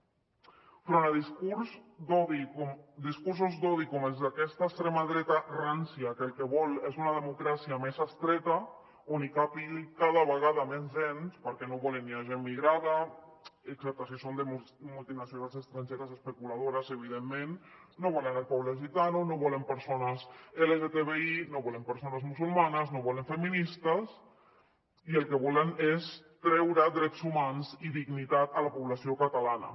enfront del discurs d’odi o discursos d’odi com els d’aquesta extrema dreta rància que el que vol és una democràcia més estreta on càpiga cada vegada menys gent perquè no volen ni gent migrada excepte si són de multinacionals estrangeres especuladores evidentment no volen el poble gitano no volen persones lgtbi no volen persones musulmanes no volen feministes i el que volen és treure drets humans i dignitat a la població catalana